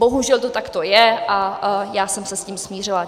Bohužel to takto je a já jsem se s tím smířila.